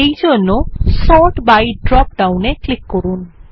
এই জন্য sort by dropdown এক্লিক করুন